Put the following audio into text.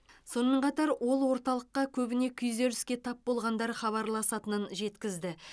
сонымен қатар ол орталыққа көбіне күйзеліске тап болғандар хабарласатынын жеткізді